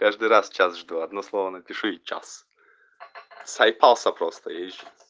каждый раз час жду одно слово напишу и час заебался просто я ещ